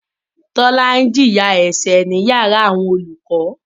Tọ́lá ń jìyà ẹ̀ṣẹ̀ ní yàrá àwọn olùkọ.